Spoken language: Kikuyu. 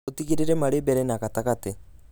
ũtigĩrĩre marĩ mbere na gatagatĩ